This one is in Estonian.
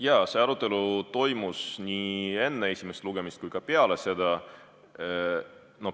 Jah, see arutelu toimus nii enne esimest lugemist kui ka peale seda.